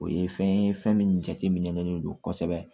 O ye fɛn ye fɛn min jateminen don kosɛbɛ